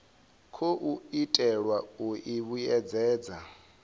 khou itelwa u i vhuedzedza